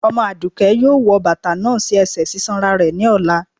Omo adùké yóò wò batà náà sí ẹsẹ sisanra rẹ ní ọlà